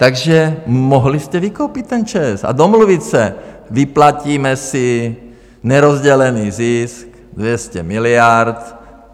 Takže mohli jste vykoupit ten ČEZ a domluvit se: Vyplatíme si nerozdělený zisk 200 miliard.